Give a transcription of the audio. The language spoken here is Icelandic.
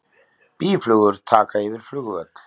Býflugur taka yfir flugvöll